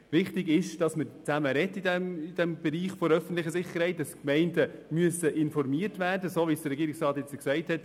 Wichtig ist, dass man im Bereich der öffentlichen Sicherheit zusammen spricht und dass die Gemeinden so informiert werden müssen, wie es der Polizeidirektor soeben gesagt hat.